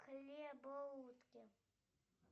хлебоутки